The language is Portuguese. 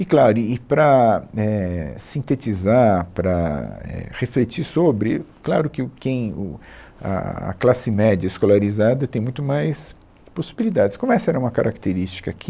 E, claro, e e para, éh, sintetizar, para éh refletir sobre, claro que o quem, o a a classe média escolarizada tem muito mais possibilidades, como essa era uma característica aqui.